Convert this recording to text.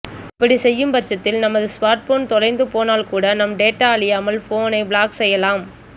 இப்படி செய்யும் பட்சத்தில் நமது ஸ்மார்ட் போன் தொலைந்து போனால் கூட நம் டேட்டா அழியாமல் போனை பிளாக் செய்யலாம்